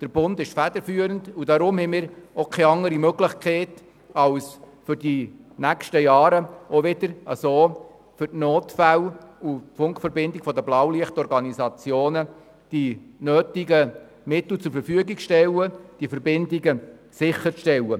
Der Bund ist federführend, und wir haben deshalb keine andere Möglichkeit, als für die nächsten Jahre die nötigen Mittel für die Funkverbindungen der BlaulichtOrganisationen zur Verfügung zu stellen und die Verbindungen sicherzustellen.